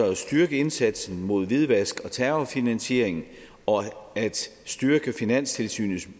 at styrke indsatsen mod hvidvask og terrorfinansiering og at styrke finanstilsynets